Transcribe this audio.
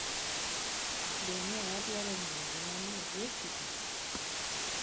‘Be ne wadwaro ng’eyo gima ni e bwo kite?